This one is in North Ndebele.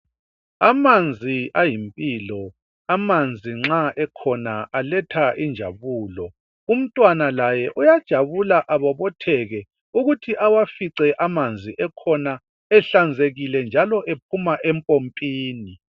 Amanzi ayimpilo amanzi nxa ekhona aletha injabulo umntwana laye uyajabula abotheke ukuthi awafiqe amanzi ekhona ehlanzekile njalo ephuma empompini.